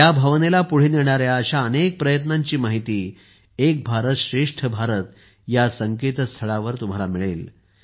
या भावनेला पुढे नेणाऱ्या अशा अनेक प्रयत्नांची माहिती तुम्हाला एक भारतश्रेष्ठ भारत या संकेतस्थळावर मिळेल